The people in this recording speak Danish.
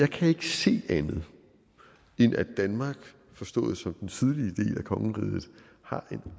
kan ikke se andet end at danmark forstået som den sydlige del af kongeriget har en